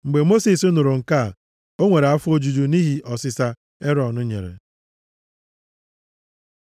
Mgbe Mosis nụrụ nke a, o nwere afọ ojuju nʼihi ọsịsa Erọn nyere.